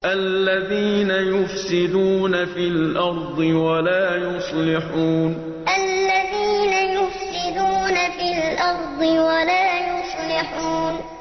الَّذِينَ يُفْسِدُونَ فِي الْأَرْضِ وَلَا يُصْلِحُونَ الَّذِينَ يُفْسِدُونَ فِي الْأَرْضِ وَلَا يُصْلِحُونَ